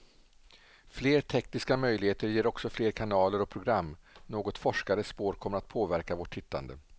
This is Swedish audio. Fler tekniska möjligheter ger också fler kanaler och program, något forskare spår kommer att påverka vårt tittande.